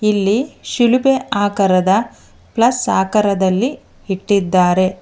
ಇಲ್ಲಿ ಶಿಲುಬೆ ಆಕಾರದ ಪ್ಲಸ್ ಆಕರದಲ್ಲಿ ಇಟ್ಟಿದ್ದಾರೆ.